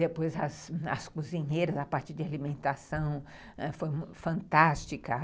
Depois, as cozinheiras, a parte de alimentação ãh foi fantástica.